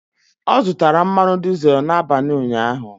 Ọ zụtara mmanụ dizel n'abalị ụnyaahụ.